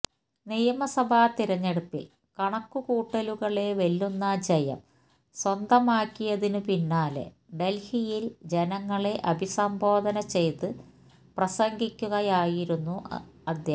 നിയമസഭാ തിരഞ്ഞെടുപ്പില് കണക്കുകൂട്ടലുകളെ വെല്ലുന്ന ജയം സ്വന്തമാക്കിയതിനു പിന്നാലെ ഡല്ഹിയില് ജനങ്ങളെ അഭിസംബോധന ചെയ്ത് പ്രസംഗിക്കുകയായിരുന്നും അദ്ദേഹം